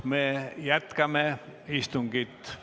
Me jätkame istungit.